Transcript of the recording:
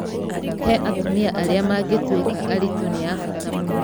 He atumia arĩa mangĩtuĩka aritũ nĩ ya bata mũno.